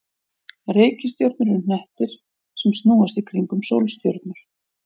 Reikistjörnur eru hnettir sem snúast í kringum sólstjörnur.